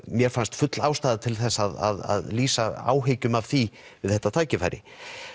mér fannst full ástæða til þess að lýsa áhyggjum af því við þetta tækifæri